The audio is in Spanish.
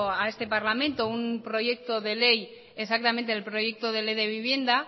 a este parlamento un proyecto de ley exactamente el proyecto de ley de vivienda